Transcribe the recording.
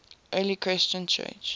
early christian church